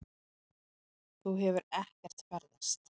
Þú hefur ekkert ferðast.